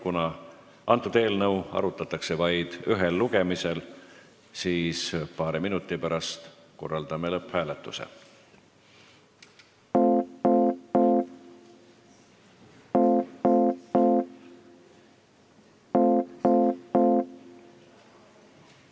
Kuna seda eelnõu arutatakse vaid ühel lugemisel, siis korraldame paari minuti pärast lõpphääletuse.